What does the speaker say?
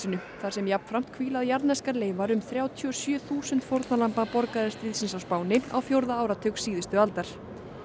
þar sem jafnframt hvíla jarðneskar leifar um þrjátíu og sjö þúsund fórnarlamba borgarastríðsins á Spáni á fjórða áratug síðustu aldar